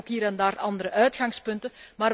Wij hebben ook hier en daar andere uitgangspunten.